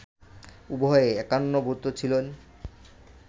উভয়ে একান্নভুক্ত ছিলেন